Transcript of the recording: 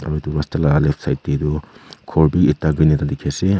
aru edu rasta la left side taetu khor bi ekta dikhiase.